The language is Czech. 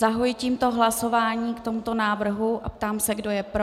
Zahajuji tímto hlasování k tomuto návrhu a ptám se, kdo je pro.